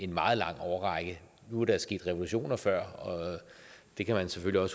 meget lang årrække nu er der sket revolutioner før og det kan man selvfølgelig